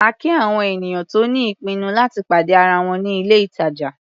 A kí àwọn ènìyàn tó ní ìpinnu láti pàdé ara wọn ní ilé-ìtàjà.